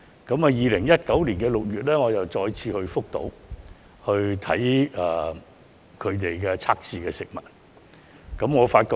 我在2019年6月再次前往福島視察當地測試食物。